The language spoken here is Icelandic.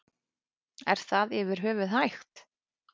Er það yfir höfuð hægt?